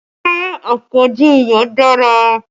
Ṣé àpọ̀jù iyọ̀ dára?